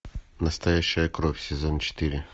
настоящая кровь сезон четыре